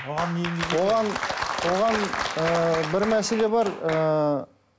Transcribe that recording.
оған оған ы бір мәселе бар ыыы